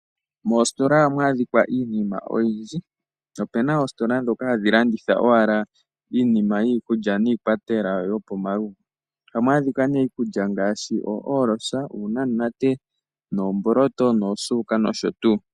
Moositola ohamu adhika iinima oyindji. Opu na oositola ndhoka hadhi landitha owala iinima yiikulya niikwatelwa yopomalugo. Ohamu adhika nee iikulya ngaashi oohoolosa , uunamunate, oomboloto , oosuuka nosho tuu.